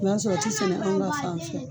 N'a sɔrɔ a ti sɛnɛ anw ka fan fɛ.